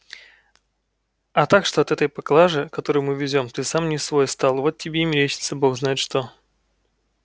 а так что от этой поклажи которую мы везём ты сам не свой стал вот тебе и мерещится бог знает что